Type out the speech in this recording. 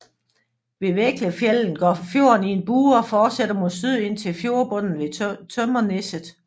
Ved Veggfjellan går fjorden i en bue og fortsætter mod syd ind til fjordbundnen ved Tømmerneset